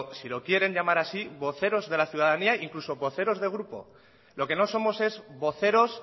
si lo quieren llamar así voceros de la ciudadanía incluso voceros de grupo lo que no somos es voceros